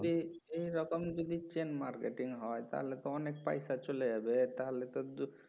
এই এই রকম যদি chain marketing হয় তাহলে তো অনেক পয়সা চলে যাবে তাহলে তো